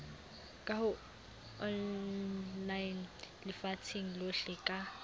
ka online lefatsheng lohle ka